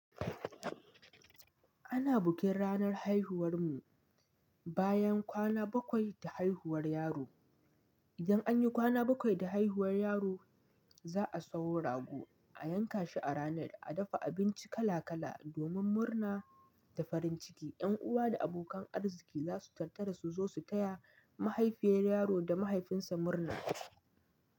Ana bikin ranar haihuwar mu bayan kwana bakwai da haihuwar yaro. Idan anyi kwana bakwai da haihuwar yaro za'a sauro rago a yanka shi a rana a dafa abinci kala kala domin murna da farin ciki. Yan uwa da abokan arziki za su taru su zo su taya mahaifiyar yaro da mahaifinsa murna.